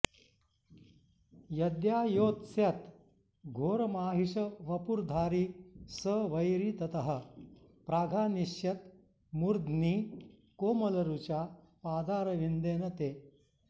यद्यायोत्स्यत घोरमाहिषवपुर्धारी स वैरी ततः प्राघानिष्यत मूर्ध्नि कोमलरुचा पादारविन्देन ते